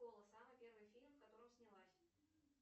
самый первый фильм в котором снялась